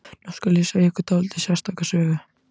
Nú skal segja ykkur dálítið sérstaka sögu.